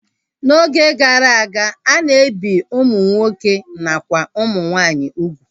N'oge gara aga, a na-ebi ụmụ nwoke nakwa ụmụ nwaanyị ugwu